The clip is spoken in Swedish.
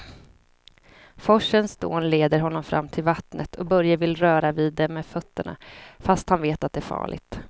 Forsens dån leder honom fram till vattnet och Börje vill röra vid det med fötterna, fast han vet att det är farligt.